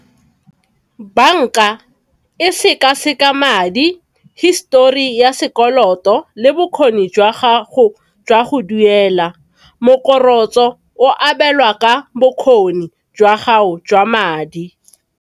Bank-a e sekaseka madi, histori ya sekoloto, le bokgoni jwa gago jwa go duela, mokorotlo o abelwa ka bokgoni jwa gago jwa madi.